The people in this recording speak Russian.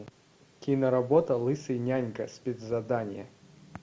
киноработа лысый нянька спецзадание